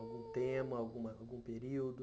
Algum tema, algum período?